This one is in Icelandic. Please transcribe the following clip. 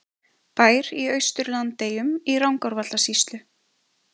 Bær í Austur-Landeyjum í Rangárvallasýslu.